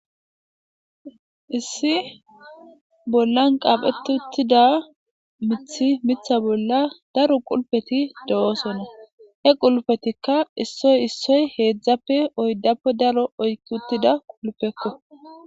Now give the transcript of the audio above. issi bollan qaapheti uttida mithi mitha bolla daro qulpeti do7oosonna he qulpetikka issoy issoy heedzdzappe oyddappe daro oykki uttida qulpekko